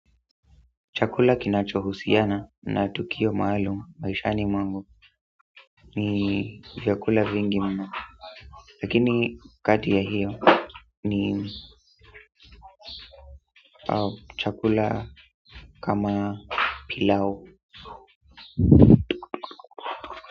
Chakula kinachohusiana na tukio maaluma maishani mwangu ni chakula vingi mno lakini kati ya hiyo ni chakula kama pilau.